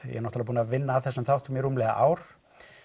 er náttúrulega búinn að vinna að þessum þáttum í rúmlega ár